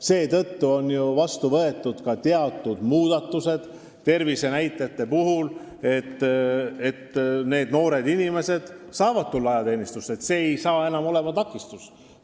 Seetõttu on ju vastu võetud ka teatud muudatused tervisenäitajate puhul, et noored inimesed saavad tulla ajateenistusse, tervislikud põhjused ei ole enam takistus.